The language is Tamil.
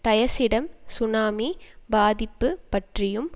டயசிடம் சுனாமி பாதிப்பு பற்றியும்